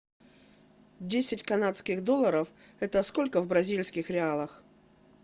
десять канадских долларов это сколько в бразильских реалах